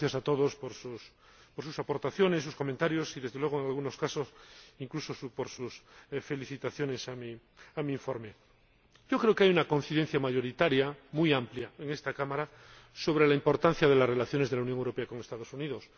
gracias a todos por sus aportaciones, sus comentarios y, desde luego, en algunos casos, incluso por sus felicitaciones a mi informe. Creo que hay una coincidencia mayoritaria muy amplia en esta Cámara sobre la importancia de las relaciones de la Unión Europea con los Estados Unidos.